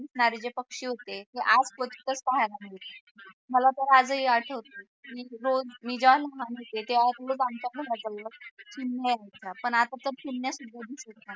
दिसणारे जे पक्षी होते हे आज कुठे पाहायला मिळते मला तर आजही आठवते मी रोज पण आता तर चिमण्या सुद्धा दिसत नाहीत